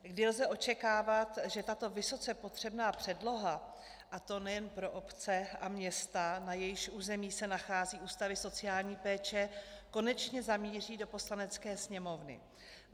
Kdy lze očekávat, že tato vysoce potřebná předloha, a to nejen pro obce a města, na jejichž území se nacházejí ústavy sociální péče, konečně zamíří do Poslanecké sněmovny?